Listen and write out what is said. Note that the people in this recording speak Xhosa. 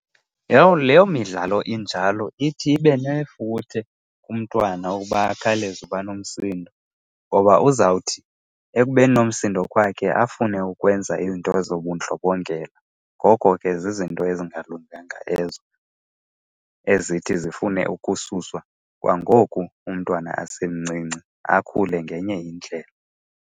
Yho leyo midlalo injalo ithi ibe nefuthe kumntwana uba akhawuleze uba nomsindo. Ngoba uzawuthi ekubeni nomsindo kwakhe afune ukwenza iinto zobundlobongela. Ngoko ke zizinto ezingalunganga ezo ezithi zifune ukususwa kwangoku umntwana asemancinci, akhule ngenye indlela.